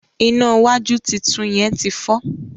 iná wájú títún yén tí fọ